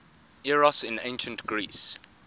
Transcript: eros in ancient greece